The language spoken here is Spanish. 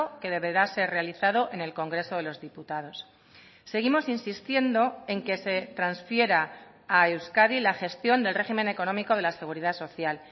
que deberá ser realizado en el congreso de los diputados seguimos insistiendo en que se transfiera a euskadi la gestión del régimen económico de la seguridad social